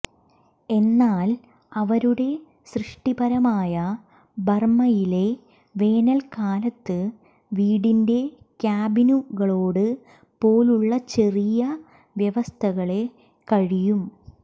എന്നാൽ അവരുടെ സൃഷ്ടിപരമായ ബർമയിലെ വേനൽക്കാലത്ത് വീടിൻറെ ക്യാബിനുകളോട് പോലുള്ള ചെറിയ വ്യവസ്ഥകളെ കഴിയും